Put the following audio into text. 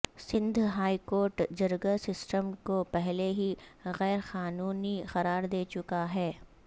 Sindh high court جرگہ system کو پہلے ہی غیر قانونی قرار دے چکاہے